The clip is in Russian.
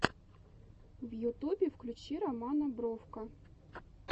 в ютубе включи романа бровко